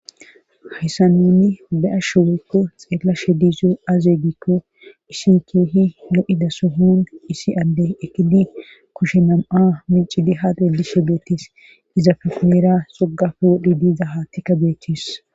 Hayssan nuuni be'ashe woykko xelashe de'yoy aye giikko issi keehi lo'za sohon issi adde eqqidi kushe nam'a micciddi ha xeelishe beetees. Izappe hinnira xoqappe wodhidi dida haaththi beetees.